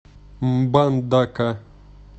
мбандака